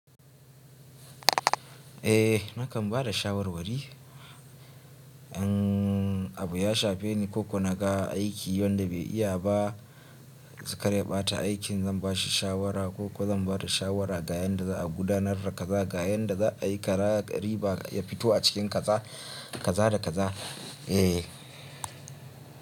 Eh nakan bada shawar wari. Abu yashafe ni ko ko naga aiki wanda bai iya ba, karya ɓata aikin zan bashi shawara ko ko zan bada shawara ga yanda za a gudanar da kaza, ga yanda za a yi kaza riba ya fito a cikin kaza, kaza da kaza. Eh.